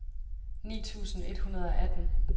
ni tusind et hundrede og atten